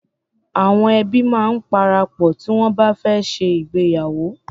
Awọn ẹbi máa ń parapọ̀ tí wọn bá fẹ́ ṣe ìgbéyàwó.